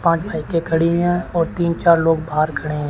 पांच बाइके खड़ी हैं और तीन चार लोग बाहर खड़े हैं।